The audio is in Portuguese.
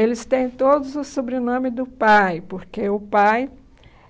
Eles têm todos o sobrenome do pai, porque o pai